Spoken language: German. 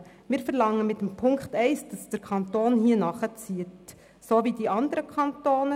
Mit der Ziffer 1 verlangen wir, dass der Kanton hier gleich vorgeht wie die anderen Kantone.